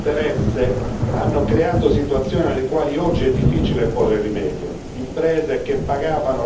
Purtroppo, anni di disinteresse hanno creato situazioni alle quali oggi è difficile porre rimedio.